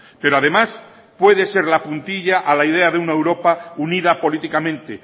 pero además puede serla puntilla a la idea de una europa unida políticamente